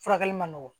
Furakɛli man nɔgɔn